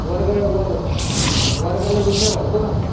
वर्ग वर्गाला डुम्मे भरतो का